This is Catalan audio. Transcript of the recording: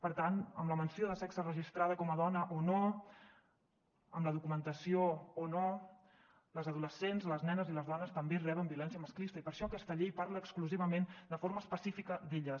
per tant amb la menció de sexe registrada com a dona o no amb la documentació o no les adolescents les nenes i les dones també reben violència masclista i per això aquesta llei parla exclusivament de forma específica d’elles